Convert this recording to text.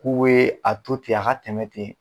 K'u we a to ten a ka tɛmɛ ten.